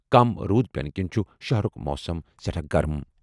کم روٗد پینہٕ کِنۍ چھُ شہرُک موسم سٹھاہ گرم۔